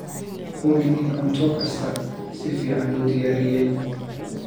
Hubi in cunto kasta si fiican loo diyaariyey.